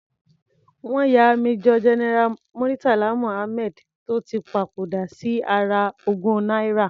Wọ́n ya Major General Muritala Muhammad tó ti papòdà sí ara ogún náírà.